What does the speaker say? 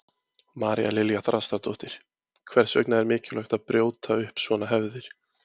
María Lilja Þrastardóttir: Hvers vegna er mikilvægt að brjóta upp svona hefðir?